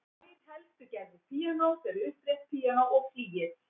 Tvær helstu gerðir píanós eru upprétt píanó og flygill.